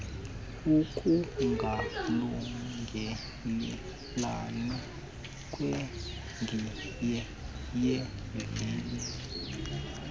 ukungalungelelani kwegiye yevili